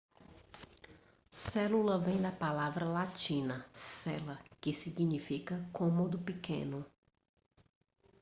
célula vem da palavra latina cella que significa cômodo pequeno